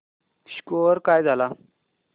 score काय झाला